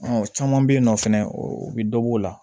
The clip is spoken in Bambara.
Ɔ caman bɛ yen nɔ fɛnɛ u bɛ dɔ bɔ o la